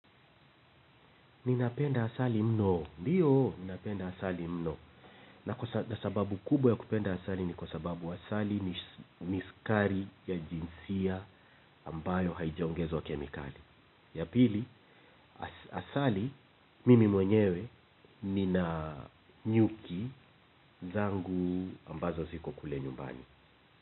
Ninapenda asali mno. Ndiyo, ninapenda asali mno. Na sababu kubwa ya kupenda asali ni kwa sababu asali ni sukari ya jinsia ambayo haijaongezwa kemikali. Ya pili, asali, mimi mwenyewe, nina nyuki zangu ambazo ziko kule nyumbani.